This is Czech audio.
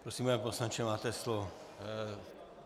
Prosím, pane poslanče, máte slovo.